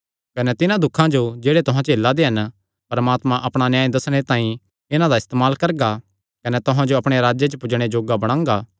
कने जिन्हां दुखां जो जेह्ड़े तुहां झेला दे हन परमात्मा अपणा न्याय दस्सणे तांई इन्हां दा इस्तेमाल करगा कने तुहां जो अपणे राज्जे च पुज्जणे जोग्गा बणांगा